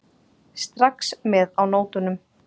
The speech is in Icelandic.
Strax með á nótunum.